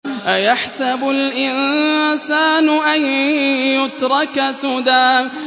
أَيَحْسَبُ الْإِنسَانُ أَن يُتْرَكَ سُدًى